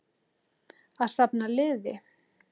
Að safna liði!